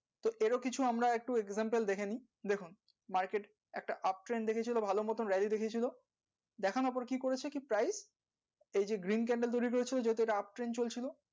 তো এরও কিছু আমরা একটা দেখে নেই দেখুন একটা দেখিয়েছিলো ভালো মতো দেকিয়ে ছিল দেখানোর পর কি করেছে কি এই যে তৈরী করে ছিল যেহেতু ইটা চলছিল